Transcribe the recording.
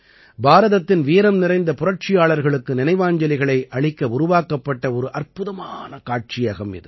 பாரதத்தின் வீரம்நிறைந்த புரட்சியாளர்களுக்கு நினைவாஞ்சலிகளை அளிக்க உருவாக்கப்பட்ட ஒரு அற்புதமான காட்சியகம் இது